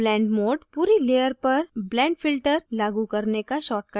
blend mode पूरी layer पर blend filter लागू करने का shortcut है